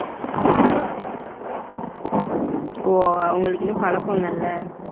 ஓ உங்களுக்கு wear இன்னோம் பழக்கம் இல்லேல.